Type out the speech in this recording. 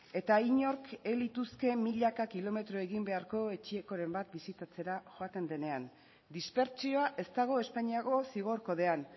eta inork ez lituzke milaka kilometro egin beharko etxekoren bat bisitatzera joaten denean dispertsioa ez dago espainiako zigor kodean